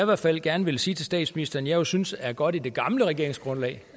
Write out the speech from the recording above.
hvert fald gerne vil sige til statsministeren at jeg synes er godt i det gamle regeringsgrundlag